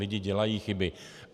Lidi dělají chyby.